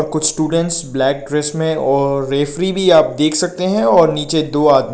कुछ students black dress में और रेफरी भी आप देख सकते हैं और नीचे दो आदमी।